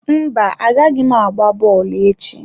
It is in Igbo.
Mba, agaghị m agba bọọlụ echi.